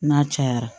N'a cayara